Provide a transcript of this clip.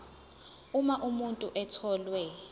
uma umuntu etholwe